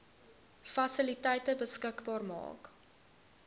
fasiliteite beskikbaar maak